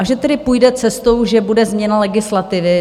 A že tedy půjde cestou, že bude změna legislativy.